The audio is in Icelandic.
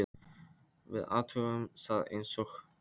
Við athugum það eins og annað.